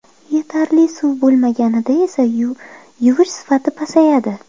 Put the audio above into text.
Yetarli suv bo‘lmaganida esa yuvish sifati pasayadi.